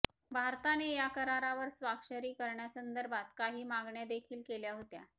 भारताने या करारावर स्वाक्षरी करण्यासंदर्भात काही मागण्या देखील केल्या होत्या